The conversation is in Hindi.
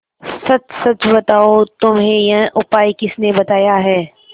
सच सच बताओ तुम्हें यह उपाय किसने बताया है